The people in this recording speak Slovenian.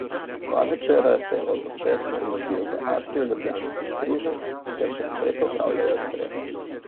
Dva večera se je Oto Pestner mudil v atriju ljubljanskih Križank, kjer še naprej popravljajo streho.